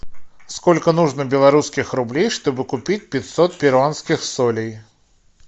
сколько нужно белорусских рублей чтобы купить пятьсот перуанских солей